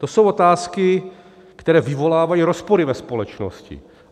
To jsou otázky, které vyvolávají rozpory ve společnosti.